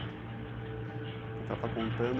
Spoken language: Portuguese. Ah, então a senhora está contando.